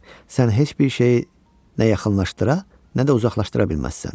Sən heç bir şeyi nə yaxınlaşdıra, nə də uzaqlaşdıra bilməzsən.